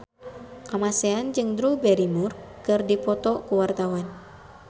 Kamasean jeung Drew Barrymore keur dipoto ku wartawan